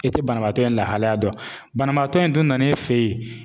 E tɛ banabaatɔ in lahalaya dɔn banabaatɔ in dun nana e fɛ yen.